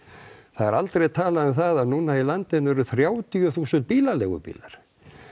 það er aldrei talað um það að núna í landinu eru þrjátíu þúsund bílaleigu bílar